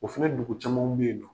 O fana dugu camanw bɛ yen nɔ.